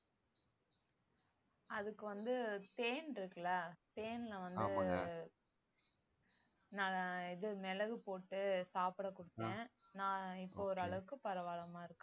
அதுக்கு வந்து தேன் இருக்குல்ல தேன்ல வந்து நான் இது மிளகு போட்டு சாப்பிட குடுத்தேன் நான் இப்ப ஓரளவுக்கு பரவால்லாம இருக்கா